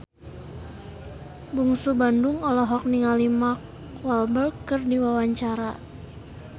Bungsu Bandung olohok ningali Mark Walberg keur diwawancara